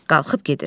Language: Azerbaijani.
Qalxıb gedir.